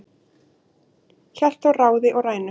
hélt þó ráði og rænu